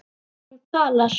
Hún talar.